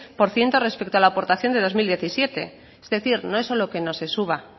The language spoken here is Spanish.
por ciento respecto a la aportación del dos mil diecisiete es decir no es solo que no se suba